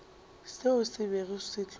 seo se bego se tlo